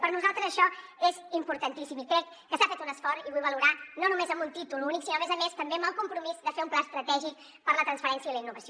per nosaltres això és importantíssim i crec que s’ha fet un esforç i vull valorar no només amb un títol únic sinó a més a més també amb el compromís de fer un pla estratègic per a la transferència i la innovació